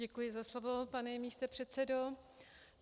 Děkuji za slovo, pane místopředsedo.